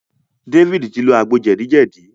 David ti lò àgbò jedi jedi